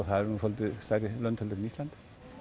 það eru svolítið stærri lönd heldur en Ísland